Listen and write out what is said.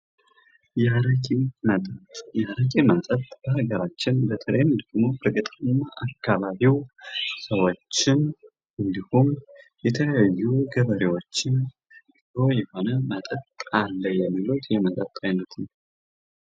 የአረቂ መጠጥ:-የአረቂ መጠጥ በአገራችን በተለይም ደግሞ በገጠራማ አካባቢዉ ሰዎችን እንዲሁም ደግሞ ገበሬዎችን ጥሩ የሆነ መጠጥ አለ የሚሉት ነዉ።